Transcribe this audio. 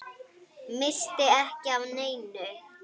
Missti ekki af neinu.